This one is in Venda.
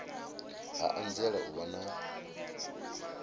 ha anzela u vha na